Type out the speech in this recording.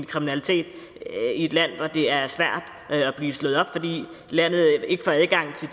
kriminalitet i et land hvor det er svært at blive slået op fordi landet ikke får adgang til